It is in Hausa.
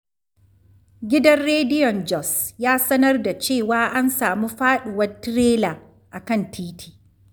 Gidan rediyon Jos ya sanar da cewa an samu faɗuwar tirela a kan titi.